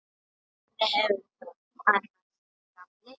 Hvernig hefurðu það annars, gamli?